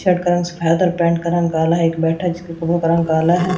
Shirt का रंग सफेद और पेंट का रंग काला है एक बैठा है जिसकी कपड़ों का रंग काला है।